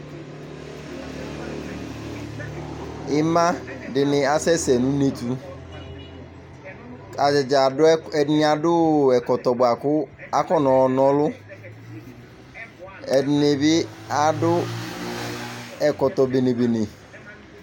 ima dini asɛsɛ nu une di, ata ni adu, ɛdini adu ɛkɔtɔ bʋa ku afɔ nɔ na ɔlu, ɛdini bi adu ɛkɔtɔ bene bene